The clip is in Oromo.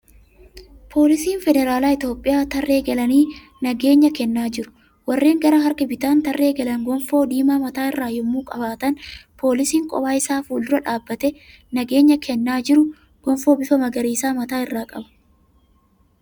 Poolisiin Federaalaa Itiyoophiyaa tarree galanii nageenya kennaa jiru. Warreen gara harka bitaan tarree galan gonfoo diimaa mataa irraa yemmuu qabaatan poolisiin kophaa isaa fuuldura dhaabbatee nageenya kennaa jiru gonfoo bifa magariisaa mataa irra qaba.